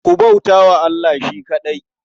Ku bauta wa Allah shi kaɗai.